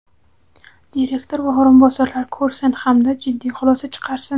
direktor va o‘rinbosarlar ko‘rsin hamda jiddiy xulosa chiqarsin!.